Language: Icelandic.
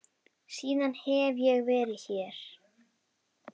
Síðan hef ég verið hér.